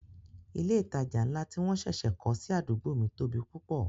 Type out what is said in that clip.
Ilé ìtajà ńlá tí wọ́n ṣẹ̀ṣẹ̀ kọ́ sí àdúgbò mi tóbi púpọ̀